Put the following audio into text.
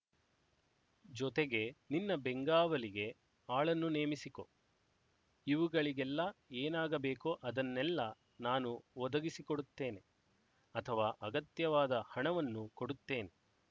ಜೊತೆಗೆ ನಿನ್ನ ಬೆಂಗಾವಲಿಗೆ ಆಳನ್ನು ನೇಮಿಸಿಕೊ ಇವುಗಳಿಗೆಲ್ಲ ಏನಾಗಬೇಕೋ ಅದನ್ನೆಲ್ಲ ನಾನು ಒದಗಿಸಿಕೊಡುತ್ತೇನೆ ಅಥವಾ ಅಗತ್ಯವಾದ ಹಣವನ್ನು ಕೊಡುತ್ತೇನೆ